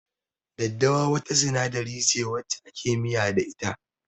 Daddawa wata sinadari ce wacce ake miya da ita.